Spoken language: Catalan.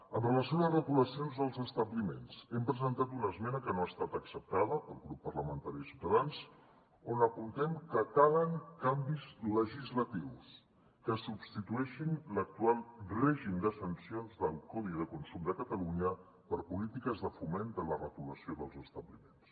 en relació amb les retolacions dels establiments hem presentat una esmena que no ha estat acceptada pel grup parlamentari de ciutadans on apuntem que calen canvis legislatius que substitueixin l’actual règim de sancions del codi de consum de catalunya per polítiques de foment de la retolació dels establiments